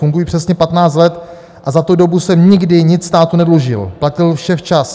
Funguji přesně 15 let a za tu dobu jsem nikdy nic státu nedlužil, platil vše včas.